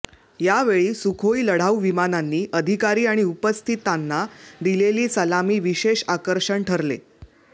या वेळी सुखोई लढाऊ विमानांनी अधिकारी आणि उपस्थितांना दिलेली सलामी विशेष आकर्षण ठरले